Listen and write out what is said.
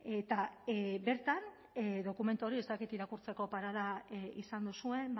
eta bertan dokumentu hori ez dakit irakurtzeko parada izan duzuen